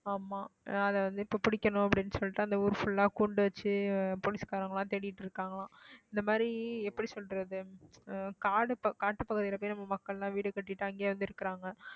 ஆமாம் அதை வந்து இப்ப பிடிக்கணும் அப்படின்னு சொல்லிட்டு அந்த ஊர் full ஆ குண்டு வச்சு போலீஸ்காரங்க எல்லாம் தேடிட்டு இருக்காங்களாம் இந்த மாதிரி எப்படி சொல்றது காடு காட்டுப்பகுதியில போயி நம்ம மக்கள் எல்லாம் வீடு கட்டிட்டு அங்கேயே வந்து இருக்குறாங்க